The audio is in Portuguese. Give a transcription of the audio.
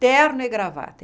Terno e gravata.